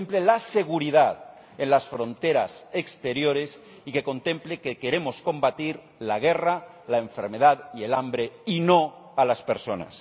que contemple la seguridad en las fronteras exteriores y que contemple que queremos combatir la guerra, la enfermedad y el hambre, y no a las personas.